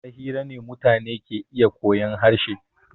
Ta hira ne mutane ke iya koyan harshe.